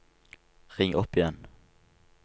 ring opp igjen